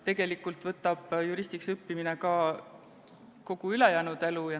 Tegelikult võtab juristiks õppimine kogu ülejäänud elu.